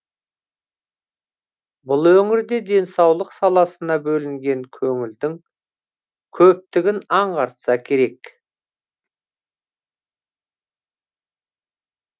бұл өңірде денсаулық саласына бөлінген көңілдін көптігін аңғартса керек